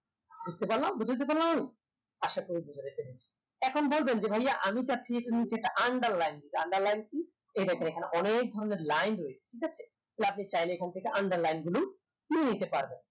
বুজতে পারলাম বুজাতে পারলাম আমি আশা করি বুজাতে পেরেছি এখন বলবেন যে ভাইয়া আমি চাচ্ছি এই মুহূর্তে একটা underline দিতে underline কি এই দেখেন এখানে অনেক ধরণের line রয়েছে ঠিকাছে তো আপনি চাইলে এখান থেকে underline গুলো তুলে নিতে পারবেন